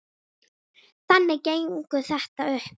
Þannig gengur þetta upp.